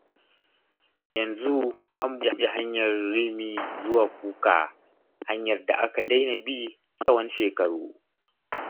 Yanzu an buɗe hanyar Rimi zuwa Kuka, hanyar da aka daina bi tsawon shekaru.